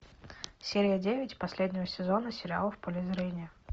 серия девять последнего сезона сериала в поле зрения